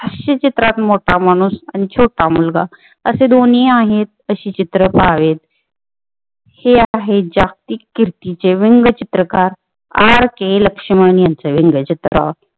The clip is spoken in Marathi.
हास्यचित्रात मोठा माणुस आणि छोटा मुलगा असे दोन्हीही आहेत तशी चित्र पाहायला हे आहेत जागतिक किर्तीचे व्यंगचित्रकार आर के लक्ष्मण यांचे व्यंगचित्र